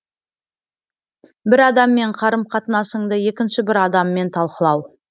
бір адаммен қарым қатынасыңды екінші бір адаммен талқылау